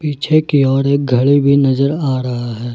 पीछे की और एक घर भी नजर आ ड़हा है।